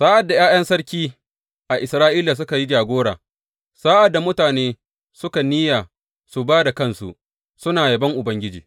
Sa’ad da ’ya’yan sarki a Isra’ila suka yi jagora, sa’ad da mutane suka niyya su ba da kansu, suna yabon Ubangiji!